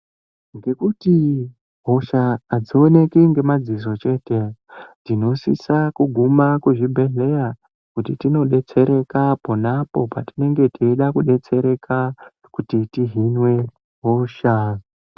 Ngekuti hosha adzioneki ngemadziso chete, tinosisa kuguma kuzvibhedhleya, kuti tinodetsereka apo neapo patinenge teida kudetsereka, kuti tihinwe hosha.